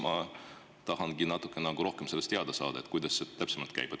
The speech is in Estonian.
Ma tahangi natuke rohkem sellest teada saada, kuidas see täpsemalt käib.